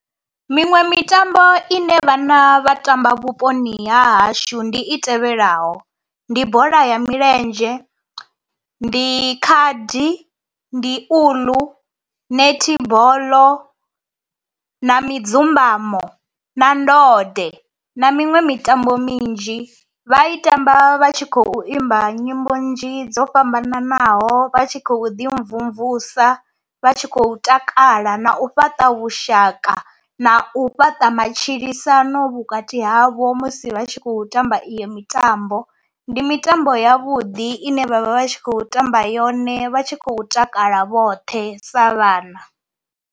Miṅwe mitambo ine vhana vha tamba vhuponi ha hashu ndi i tevhelaho ndi bola ya milenzhe, ndi khadi, ndi uḽu, nethiboḽo na midzumbamo na ndode na miṅwe mitambo minzhi. Vha i tamba vha tshi khou imba nyimbo nnzhi dzo fhambananaho vha tshi khou ḓi mvumvusa, vha tshi khou takala na u fhaṱa vhushaka na u fhaṱa matshilisano vhukati havho musi vha tshi khou tamba iyo mitambo. Ndi mitambo ya vhuḓi ine vhavha vha tshi khou tamba yone vha tshi khou takala vhoṱhe sa vhana.